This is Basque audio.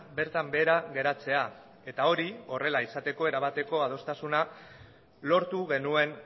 bertan behera geratzea eta hori horrela izateko erabateko adostasuna lortu genuen